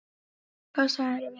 Og hvað sagðirðu við kallinn?